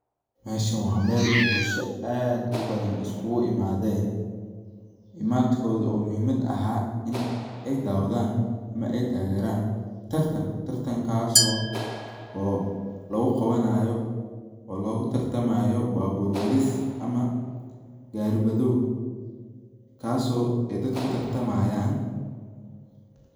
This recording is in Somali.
Meshan wa mel bulsha aad ubadhan iskugu imadhen, imadkodha oo muhumad ahaa in ay dawadhan ama ay tageran tartan, tartankas oo lagu qabanayo oo logu tartamayo babur wadhis ama gari wadhow kaso dadka kutartamayan.